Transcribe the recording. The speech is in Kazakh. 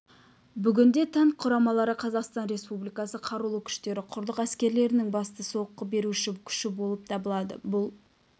бүгінде танк құрамалары қазақстан республикасы қарулы күштері құрлық әскерлерінің басты соққы беруші күші болып табылады бұл